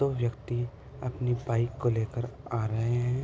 दो व्यक्ति अपनी बाइक को लेकर आ रहे हैं।